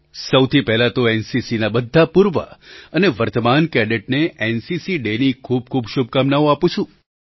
સૌથી પહેલાં તો એનસીસીના બધા પૂર્વ અને વર્તમાન કેડેટને એનસીસી ડેની ખૂબ ખૂબ શુભકામનાઓ આપું છું